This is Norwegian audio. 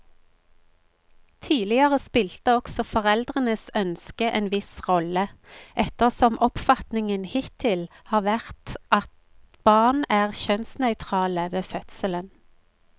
Tidligere spilte også foreldrenes ønske en viss rolle, ettersom oppfatningen hittil har vært at barn er kjønnsnøytrale ved fødselen.